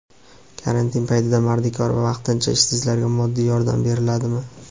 Karantin paytida mardikor va vaqtincha ishsizlarga moddiy yordam beriladimi?.